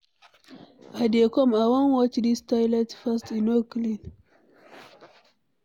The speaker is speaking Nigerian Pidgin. I dey come, I wan watch dis toilet first, e no clean.